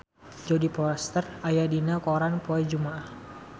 Jodie Foster aya dina koran poe Jumaah